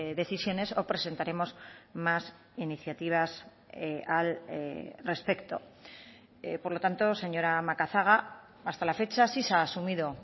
decisiones o presentaremos más iniciativas al respecto por lo tanto señora macazaga hasta la fecha sí se ha asumido